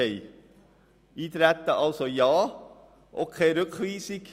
Also, Ja zum Eintreten und auch keine Rückweisung.